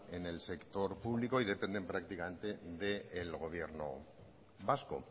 en el sector público y dependen prácticamente del gobierno vasco